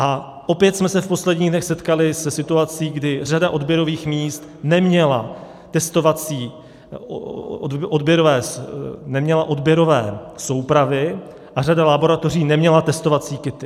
A opět jsme se v posledních dnech setkali se situací, kdy řada odběrových míst neměla odběrové soupravy a řada laboratoří neměla testovací kity.